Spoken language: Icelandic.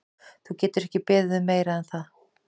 Þú getur ekki beðið um meira en það.